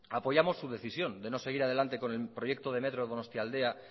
apoyamos su decisión de no seguir adelante con el proyecto de metro de donostialdea